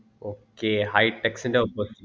okay hightext ൻ്റെ opposite